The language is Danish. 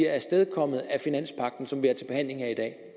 afstedkommet af finanspagten som vi har til behandling her i dag